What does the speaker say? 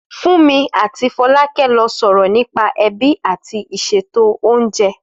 Fúnmi àti Fọlákẹ́ ló sọ̀rọ̀ nípa ẹbí àti ìṣètò oúnjẹ